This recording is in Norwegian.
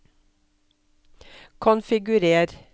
konfigurer